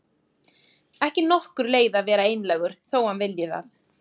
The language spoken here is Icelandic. Ekki nokkur leið að vera einlægur þó að hann vilji það.